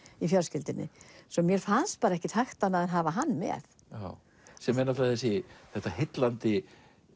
í fjölskyldunni svo mér fannst bara ekki hægt annað en hafa hann með sem er þetta heillandi